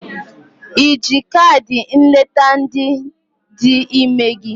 Iji kaadị nleta ndị dị ime gị?